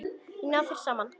Og ná þeir saman?